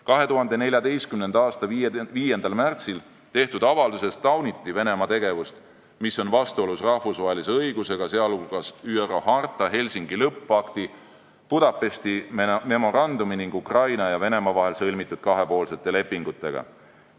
2014. aasta 5. märtsil tehtud avalduses tauniti Venemaa tegevust, mis on vastuolus rahvusvahelise õigusega, sh ÜRO harta, Helsingi lõppakti, Budapesti memorandumi ning Ukraina ja Venemaa vahel sõlmitud kahepoolsete lepingutega.